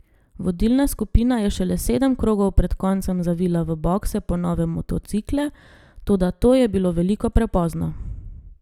Vodilna skupina je šele sedem krogov pred koncem zavila v bokse po nove motocikle, toda to je bilo veliko prepozno.